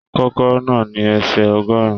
Kòkòrò náà ní ẹsẹ ọgọrùn.